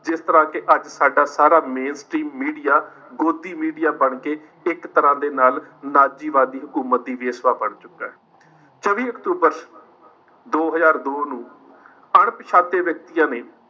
ਜਿਸ ਤਰਾਂ ਕਿ ਅੱਜ ਸਾਡਾ ਸਾਰਾ main stream media godi media ਬਣ ਕਿ ਇੱਕ ਤਰਾਂ ਦੇ ਨਾਲ ਨਾਜ਼ੀਵਾਦੀ ਉਮਦੀ ਵੇਸਬਾ ਬਣ ਚੁੱਕਾ ਹੈ। ਚੌਵੀ ਅਕਤੂਬਰ ਦੋ ਹਜ਼ਾਰ ਦੋ ਨੂੰ ਅਣਪਛਾਤੇ ਵਿਅਕਤੀਆਂ ਨੇ,